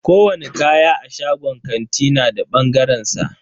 Kowani kaya a shagon kanti na da bangaren sa.